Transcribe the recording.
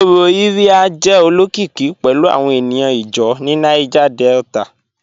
Ọrọ Iría jẹ̀ olokikì pẹ̀lu awọn ènìyàn ìjáw ni Niger Delta